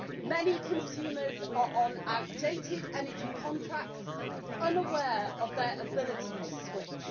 Many consumers are on outdated energy contracts, unaware of their ability to switch.